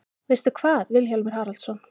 Veistu hvað, Vilhjálmur Haraldsson?